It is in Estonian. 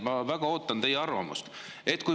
Ma väga ootan teie arvamust.